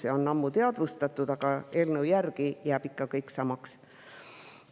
Seda on ammu teadvustatud, aga eelnõu järgi jääb kõik ikka samaks.